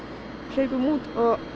hlaupum út